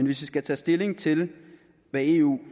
vi skal tage stilling til hvad eu